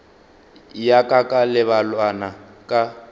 ya ka ka lebelwana ka